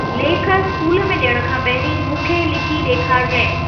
लेख इस्कूल में डि॒यण खां पहिरीं मूं खे लिखी डे॒खारजांइ।